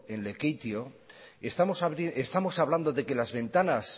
en lekeitio estamos hablando de que las ventanas